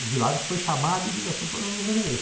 O Vilares foi chamado e disse assim, o problema do governo é esse.